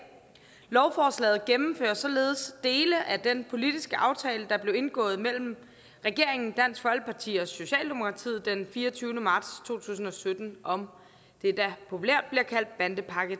lovforslaget gennemfører således dele af den politiske aftale der blev indgået mellem regeringen dansk folkeparti og socialdemokratiet den fireogtyvende marts to tusind og sytten om det der populært bliver kaldt bandepakke